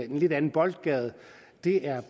en lidt anden boldgade det er